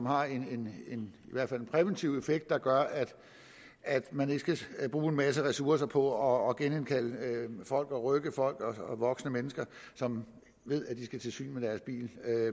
har en præventiv effekt der gør at man ikke skal bruge en masse ressourcer på at genindkalde og rykke folk voksne mennesker som ved at de skal til syn med deres bil